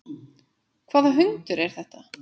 Hvaða hundur er þetta?